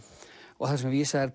og þar sem vísað er